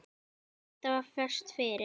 Edda var föst fyrir.